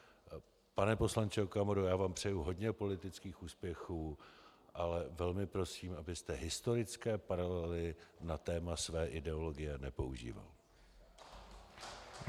Pane poslanče Okamuro, já vám přeji hodně politických úspěchů, ale velmi prosím, abyste historické paralely na téma své ideologie nepoužíval.